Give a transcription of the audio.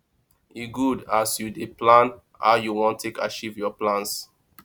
e good as you dey plan how you wan take achieve your plans